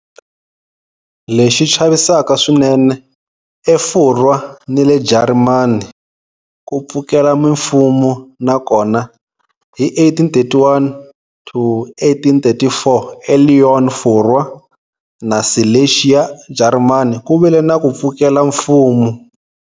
Lexi chavisaka swinene, eFurwa ni le Jarimani, ku pfukela mimfumo na kona. Hi 1831-1834 eLyon, Furwa, na Silesia, Jarimani, ku vile na ku pfukela mfumo.